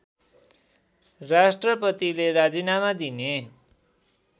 राष्‍ट्रपतिले राजिनामा दिने